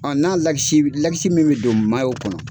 n'a min bɛ don kɔnɔ.